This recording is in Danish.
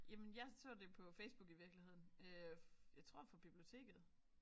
Jamen jeg så det på Facebook i virkeligheden øh jeg tror for biblioteket